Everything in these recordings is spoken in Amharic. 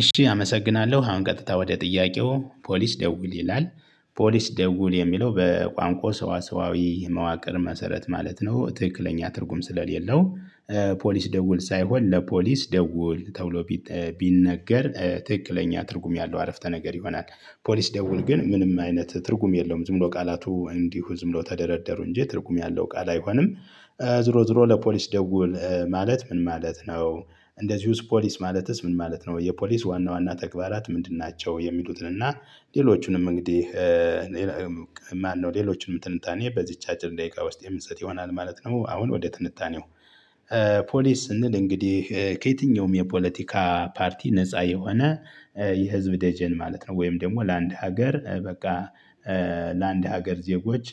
እሺ አመሰግናለሁ አሁን ቀጥታ ወደ ጥያቄው ፖሊስ ደውል ይላል። ፖሊስ ደውል የሚለው በቋንቋ ሰዋሰዋዊ መዋቅር መሰረት ማለት ነው ትክክለኛ ትርጉም ስለሌለው። ፖሊስ ደውል ሳይሆን ለፖሊስ ደውል ተውሎ። ቢነገር ትክክለኛ ትርጉም ያለው አረፍተ ነገር ይሆናል። ፖሊስ ደውል ግን ምንም አይነት ትርጉም የለውም። ዝም ብሎ ቃላቱ እንዲሁ ዝም ብሎ ተደረደሩ እንጂ ትርጉም ያለው ቃል አይሆንም። ዝሮ ዝሮ ለፖሊስ ደውል ማለት ምን ማለት ነው? እንደዚሁ ፖሊስ ማለትስ ምን ማለት ነው የፖሊስ ዋና ዋና ተግባራት ምንድን ናቸው? የሚሉትን እና ሌሎቹንም እንግዲህ ማነው ሌሎቹንም ትንታኔ በዚች አጭር ደቂቃ ውስጥ የምንሰጥ ይሆናል ማለት ነው። አሁን ወደ ትንታኔው። ፖሊስ ስንል እንግዲህ ከየትኛውም የፖለቲካ ፓርቲ ነፃ የሆነ የህዝብ ደጀን ማለት ነው። ወይም ደግሞ ለአንድ ሀገር በቃ። ለአንድ ሀገር ዜጎች።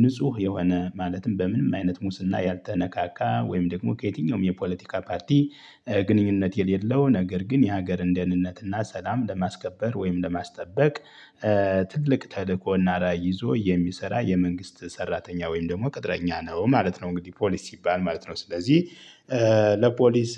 ንጹህ የሆነ ማለትም በምንም አይነት ሙስና ያልተነካካ ወይም ደግሞ ከየትኛውም የፖለቲካ ፓርቲ ግንኙነት የሌለው ነገር ግን የሀገር እንደህንነት እና ሰላም ለማስከበር ወይም ለማስጠበቅ። ትልቅ ተልእኮና ራዕይ ይዞ የሚሰራ የመንግስት ሰራተኛ ወይም ደግሞ ቅጥረኛ ነው ማለት ነው። እንግዲህ ፖሊስ ሲባል ማለት ነው። ስለዚህ ለፖሊስ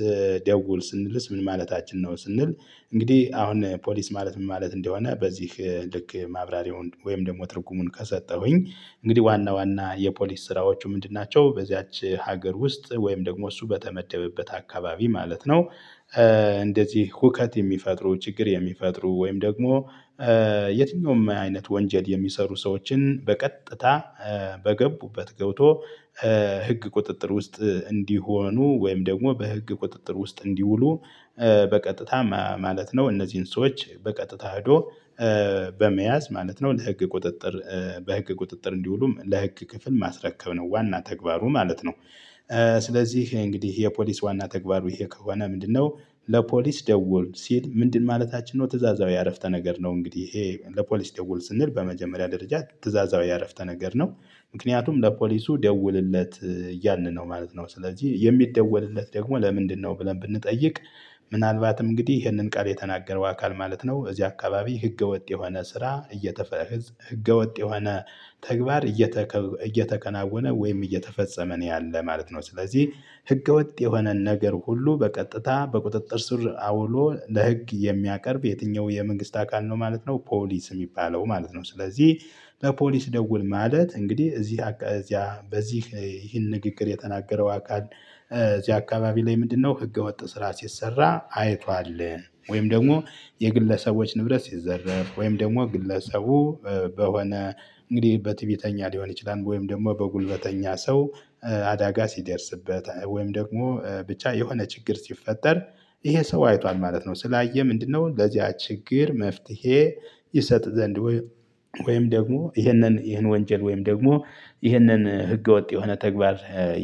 ደውል ስንልስ ምን ማለታችን ነው? ስንል እንግዲህ አሁን ፖሊስ ማለት ምን ማለት እንደሆነ በዚህ ልክ ማብራሪያውን ወይም ደግሞ ትርጉሙን ከሰጠሁኝ። እንግዲህ ዋና ዋና የፖሊስ ስራዎቹ ምንድን ናቸው በዚያች ሀገር ውስጥ ወይም ደግሞ እሱ በተመደበበት አካባቢ ማለት ነው። እንደዚህ ሁከት የሚፈጥሩ ችግር የሚፈጥሩ ወይም ደግሞ የትኛውም አይነት ወንጀል የሚሰሩ ሰዎችን በቀጥታ በገቡበት ገብቶ ህግ ቁጥጥር ውስጥ እንዲሆኑ ወይም ደግሞ በህግ ቁጥጥር ውስጥ እንዲውሉ። በቀጥታ ማለት ነው እነዚህን ሰዎች በቀጥታ ሄዶ በመያዝ ማለት ነው ለህግ ቁጥጥር በህግ ቁጥጥር እንዲውሉ ለህግ ክፍል ማስረከብ ነው ዋና ተግባሩ ማለት ነው። ስለዚህ እንግዲህ የፖሊስ ዋና ተግባሩ ይሄ ከሆነ ምንድነው? ለፖሊስ ደወልኩ ሲል ምንድን ማለታችን ነው ትእዛዛዊ አረፍተ ነገር ነው። እንግዲህ ይሄ ለፖሊስ ደውል ስንል በመጀመሪያ ደረጃ ትእዛዛዊ አረፍተ ነገር ነው። ምክንያቱም ለፖሊሱ ደውልለት ያልን ነው ማለት ነው። ስለዚህ የሚደወልለት ደግሞ ለምንድነው ብለን ብንጠይቅ? ምናልባትም እንግዲህ ይህንን ቃል የተናገረው አካል ማለት ነው እዚህ አካባቢ ህገወጥ የሆነ ስራ እየተፈጸመ ህገወጥ የሆነ ተግባር እየተከናወነ ወይም እየተፈጸመ ነው ያለ ማለት ነው። ስለዚህ ህገወጥ የሆነን ነገር ሁሉ በቀጥታ በቁጥጥር ስር አውሎ ለህግ የሚያቀርብ የትኛው የመንግስት አካል ነው ማለት ነው። ፖሊስ እሚባለው ማለት ነው። ስለዚህ ለፖሊስ ደውል ማለት እንግዲህ እዚህ በዚህ ይህን ንግግር የተናገረው አካል እዚህ አካባቢ ላይ ምንድነው ህገወጥ ስራ ሲሰራ አይቷል። ወይም ደግሞ የግለሰቦች ንብረት ሲዘረፍ ወይም ደግሞ ግለሰቡ በሆነ እንግዲህ በትዕቢተኛ ሊሆን ይችላል ወይም ደግሞ በጉልበተኛ ሰው አዳጋ ሲደርስበት ወይም ደግሞ ብቻ የሆነ ችግር ሲፈጠር ይሄ ሰው አይቷል ማለት ነው። ስላየህ ምንድነው? ለዚያ ችግር መፍትሄ ይሰጥ ዘንድ ወይም ደግሞ ይሄንን ይሄን ወንጀል ወይም ደግሞ ይህንን ህገወጥ የሆነ ተግባር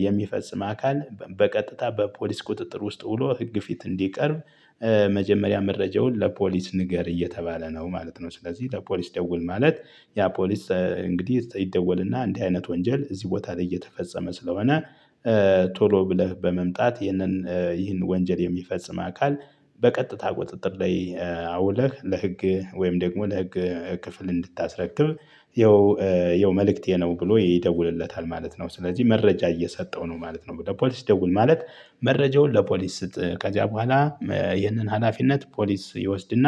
የሚፈጽም አካል በቀጥታ በፖሊስ ቁጥጥር ውስጥ ውሎ ህግ ፊት እንዲቀርብ። መጀመሪያ መረጃውን ለፖሊስ ንገር እየተባለ ነው ማለት ነው። ስለዚህ ለፖሊስ ደውል ማለት ያ ፖሊስ እንግዲህ ይደወልና እንዲህ አይነት ወንጀል እዚህ ቦታ ላይ እየተፈጸመ ስለሆነ። ቶሎ ብለህ በመምጣት ይሄንን ይህን ወንጀል የሚፈጽም አካል በቀጥታ ቁጥጥር ላይ አውለህ ለህግ ወይም ደግሞ ለህግ ክፍል እንድታስረክብ። ይኸው ይኸው መልእክቴ ነው ብሎ ይደውልለታል ማለት ነው ስለዚህ መረጃ እየሰጠው ነው ማለት ነው። ለፖሊስ ይደውል ማለት መረጃውን ለፖሊስ ስጥ ከዚያ በኋላ ይህንን ሀላፊነት ፖሊስ ይወስድና።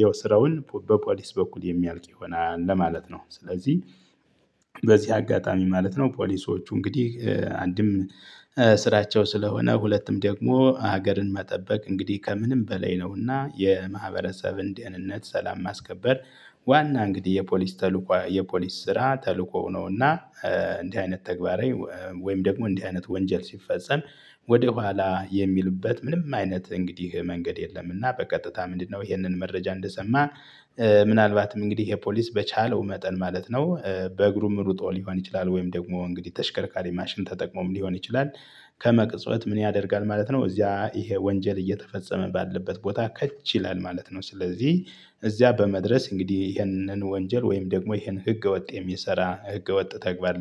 የውስረውን በፖሊስ በኩል የሚያልቅ ይሆናል ለማለት ነው። ስለዚህ በዚህ አጋጣሚ ማለት ነው ፖሊሶቹ እንግዲህ አንድም ስራቸው ስለሆነ ሁለትም ደግሞ ሀገርን መጠበቅ እንግዲህ ከምንም በላይ ነውና የማህበረሰብን ደህንነት ሰላም ማስከበር። ዋና እንግዲህ የፖሊስ ተልእኮ የፖሊስ ስራ ተልዕኮው ነውና። እንዲህ አይነት ተግባር። ወይም ደግሞ እንዲህ አይነት ወንጀል ሲፈጸም። ወደ ኋላ የሚሉበት ምንም አይነት እንግዲህ መንገድ የለም። እና በቀጥታ ምንድነው ይሄንን መረጃ እንደሰማ። ምናልባትም እንግዲህ ይሄ ፖሊስ በቻለው መጠን ማለት ነው። በእግሩም ሩጦ ሊሆን ይችላል ወይም ደግሞ እንግዲህ ተሽከርካሪ ማሽን ተጠቅሞም ሊሆን ይችላል። ከመቅጽበት ምን ያደርጋል ማለት ነው እዚያ ይሄ ወንጀል እየተፈጸመ ባለበት ቦታ ከች ይላል ማለት ነው። ስለዚህ እዚያ በመድረስ እንግዲህ ይሄንን ወንጀል ወይም ደግሞ ይሄን ህገወጥ የሚሰራ ህገወጥ ተግባር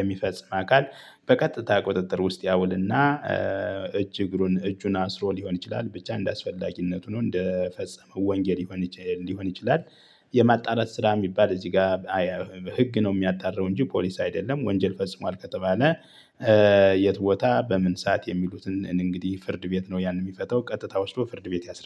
የሚፈጽም አካል በቀጥታ ቁጥጥር ውስጥ ያውልና። እጅ እግሩን እጁን አስሮ ሊሆን ይችላል ብቻ እንደሚያስፈልግነቱ ነው እንደፈጸመው ወንጌል ሊሆን ይችላል። የማጣራት ስራ እሚባል እዚህ ጋ በህግ ነው እሚያጣራው እንጂ ፖሊስ አይደለም ወንጀል ፈጽሟል ከተባለ። የት ቦታ በምን ሰዓት የሚሉትን እንግዲህ ፍርድ ቤት ነው ያን እሚፈታው ቀጥታ ወስዶ ፍርድ ቤት ያስረዳል